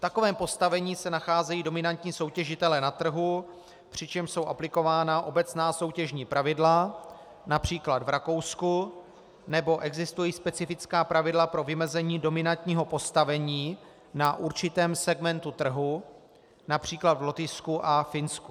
V takovém postavení se nacházejí dominantní soutěžitelé na trhu, přičemž jsou aplikována obecná soutěžní pravidla, například v Rakousku, nebo existují specifická pravidla pro vymezení dominantního postavení na určitém segmentu trhu, například v Lotyšsku a Finsku.